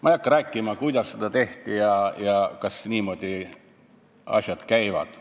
Ma ei hakka rääkima, kuidas seda tehti ja kas asjad niimoodi käivad.